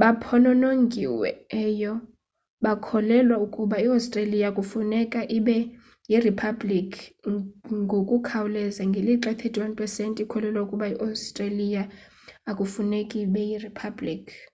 baphononongiweyo bakholelwa ukuba i-australia kufuneka ibe yiriphabliki ngokukhawuleza ngelixa i-31 pesenti ikholelwa ukuba i-australia akufuneki ibe yiriphabliki